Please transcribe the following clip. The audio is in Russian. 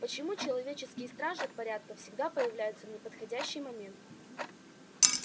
почему человеческие стражи порядка всегда появляются в неподходящий момент